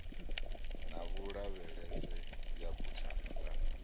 na vhulavhelese ya buthano ḽa